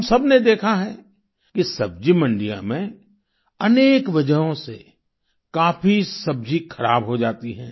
हम सबने देखा है कि सब्जी मंडियों में अनेक वजहों से काफी सब्जी खराब हो जाती है